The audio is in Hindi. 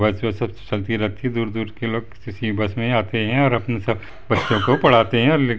बस वस सब चलती रहती है दूर दूर के लोग इसी बस मे आते है और अपना सब बच्चों को पढ़ाते है और --